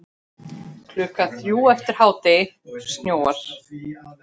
Klukkan þrjú eftir hádegi snjóar.